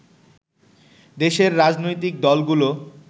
দেশের রাজনৈতিক দলগুলো